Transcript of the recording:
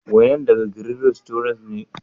Wainan daga " green restaurants " ne?